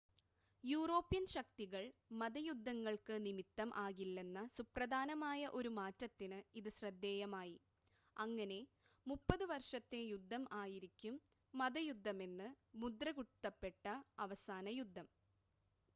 European ശക്തികൾ മത യുദ്ധങ്ങൾക്ക് നിമിത്തം ആകില്ലെന്ന സുപ്രധാനമായ ഒരു മാറ്റത്തിന് ഇത് ശ്രദ്ധേയമായി അങ്ങനെ മുപ്പത് വർഷത്തെ യുദ്ധം ആയിരിക്കും മതയുദ്ധമെന്ന് മുദ്രകുത്തപ്പെട്ട അവസാന യുദ്ധം